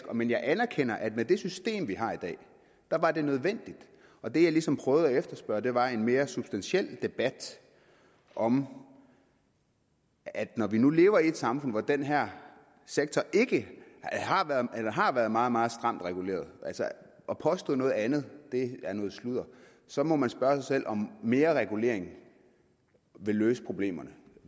om end jeg anerkender at med det system vi har i dag var det nødvendigt og det jeg ligesom prøvede at efterspørge var en mere substantiel debat om at når vi nu lever i et samfund hvor den her sektor har været meget meget stramt reguleret altså at påstå noget andet er noget sludder så må man spørge sig selv om mere regulering vil løse problemerne